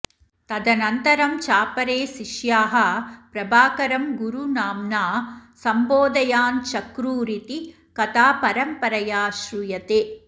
तदनन्तरं चापरे शिष्याः प्रभाकरं गुरुनाम्ना सम्बोधयाञ्चक्रुरिति कथा परम्परया श्रूयते